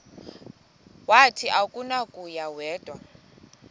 wathi akunakuya wedw